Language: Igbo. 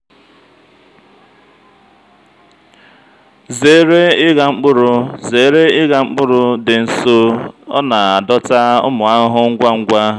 zere ịgha mkpụrụ zere ịgha mkpụrụ dị nso ọ na-adọta ụmụ ahụhụ ngwa ngwa.